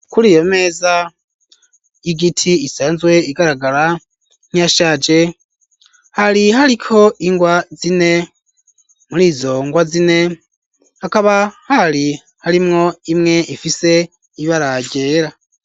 kuri iyo meza y'igiti isanzwe igaragara nkiyashaje, hari hariko ingwa zine muri zo ngwa zine akaba hari harimwo imwe ifise ibara ryera.